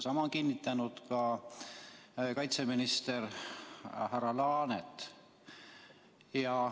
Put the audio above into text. Sama on kinnitanud ka kaitseminister härra Laanet.